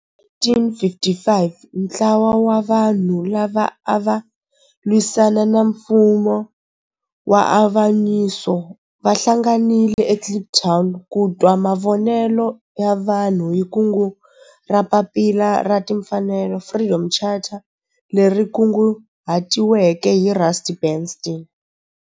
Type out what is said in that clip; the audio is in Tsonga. Hi 1955 ntlawa wa vanhu lava ava lwisana na nfumo wa avanyiso va hlanganile eKliptown ku twa mavonelo ya vanhu hi kungu ra Papila ra Tinfanelo Freedom Charter leri kunguhatiweke hi Rusty Bernstein.